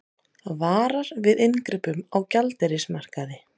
Varar við inngripum á gjaldeyrismarkaði